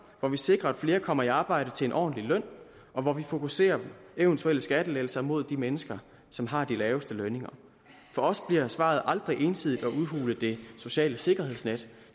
hvor vi sikrer at flere kommer i arbejde til en ordentlig løn og hvor vi fokuserer eventuelle skattelettelser mod de mennesker som har de laveste lønninger for os bliver svaret aldrig ensidigt at udhule det sociale sikkerhedsnet